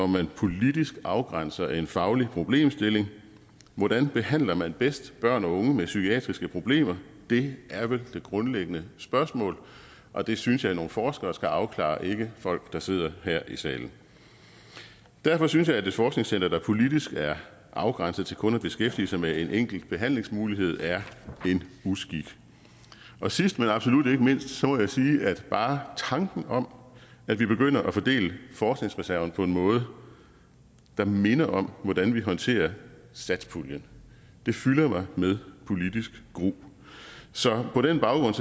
man politisk afgrænser en faglig problemstilling hvordan behandler man bedst børn og unge med psykiatriske problemer det er vel det grundlæggende spørgsmål og det synes jeg nogle forskere skal afklare ikke folk der sidder her i salen derfor synes jeg at et forskningscenter der politisk er afgrænset til kun at beskæftige sig med en enkelt behandlingsmulighed er en uskik sidst men absolut ikke mindst må jeg sige at bare tanken om at vi begynder at fordele forskningsreserven på en måde der minder om hvordan vi håndterer satspuljen fylder mig med politisk gru så på den baggrund